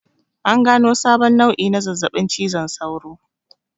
An gano sabon nau'i na zazzaɓin cizon sauro